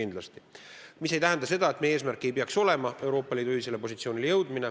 Aga see ei tähenda seda, et meie eesmärk ei peaks olema Euroopa Liidu ühisele positsioonile jõuda.